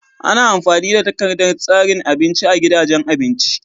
Ana amfani da takardar tsarin abinci a gidajen abinci.